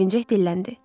Sevinəcək dilləndi.